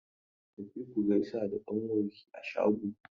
Tafi ku gaisa da ƙnawanki a shago!